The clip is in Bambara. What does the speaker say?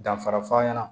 Danfara f'a ɲɛna